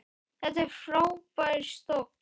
Þetta er frábær stóll.